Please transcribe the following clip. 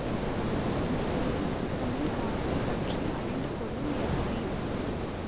இந்நிலையில் விக்ரமின் காதலை பற்றி அறிந்து கொள்ளும் எஸ் பி